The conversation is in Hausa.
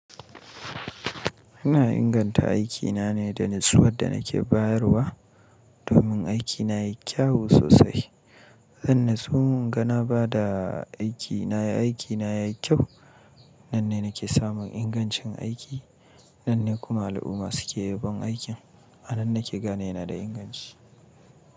Ina inganta aikina ne da natsuwar da nake bayarwa domin aikina ya yi kyawu sosai. Zan natsuwa in ga na ba da aikina, aikina ya yi kyau. Nan ne nake samun ingancin aiki, nan ne kuma al'umma suke yabon aikin. A nan nake gane ina da inganci.